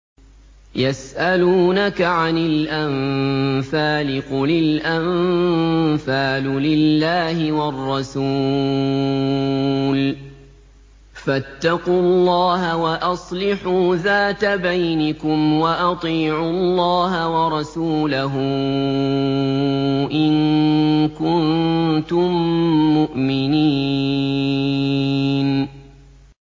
يَسْأَلُونَكَ عَنِ الْأَنفَالِ ۖ قُلِ الْأَنفَالُ لِلَّهِ وَالرَّسُولِ ۖ فَاتَّقُوا اللَّهَ وَأَصْلِحُوا ذَاتَ بَيْنِكُمْ ۖ وَأَطِيعُوا اللَّهَ وَرَسُولَهُ إِن كُنتُم مُّؤْمِنِينَ